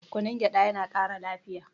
kunun gyaɗa yana Kara lafiya